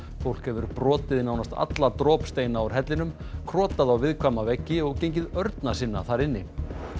fólk hefur brotið nánast alla úr hellinum krotað á viðkvæma veggi og gengið örna sinna þar inni